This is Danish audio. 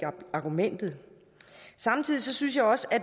argumentet samtidig synes jeg også